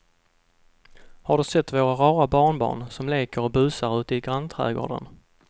Har du sett våra rara barnbarn som leker och busar ute i grannträdgården!